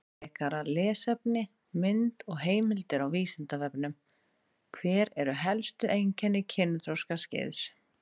Frekara lesefni, mynd og heimildir á Vísindavefnum: Hver eru helstu einkenni kynþroskaskeiðs?